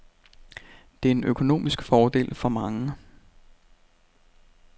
Det er en økonomisk fordel for mange.